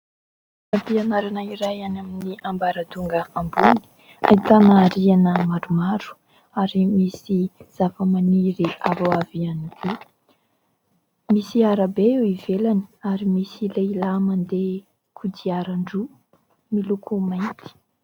Toeram-pianarana iray any amin'ny ambaratonga ambony ahitana rihana maromaro ary misy zava-maniry avoavo ihany, misy arabe eo ivelany ary misy lehilahy mandeha kodiaran-droa miloko mainty.